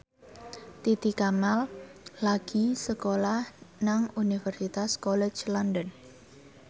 Titi Kamal lagi sekolah nang Universitas College London